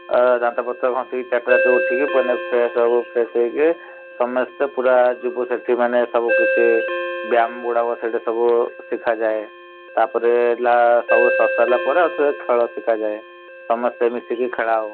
ଆ ଦାନ୍ତ ପତର ଘଷିକି ଚାରି ଟା ରାତିରୁ ଉଠିକି ସମେସ୍ତେ ପୁରା ଯିବୁ ସେଠି ମାନେ ସବୁ କିଛି ବ୍ୟାୟାମ ଗୁଡାକ ସେଠି ସବୁ ସିଖାଯାଏ । ତାପରେ ହେଲା ସବୁ ସରିସାଇଲା ପରେ ଖେଳ ସିଖାଯାଏ । ସମସ୍ତେ ମିସିକି ଖେଳାଉ ।